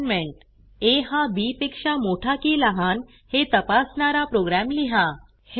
assignment a हा b पेक्षा मोठा की लहान हे तपासणारा प्रोग्रॅम लिहा